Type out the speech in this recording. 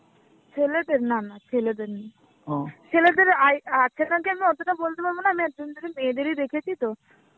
ছেলেদের? না না ছেলেদের নেই. ছেলেদের আই~ আছে নাকি আমি অতটা বলতে পারব না আমি এতদিন ধরে মেয়েদেরই দেখেছি তো